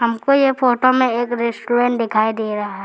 हमको ये फोटो में एक रेस्टोरेंट दिखाई दे रहा है।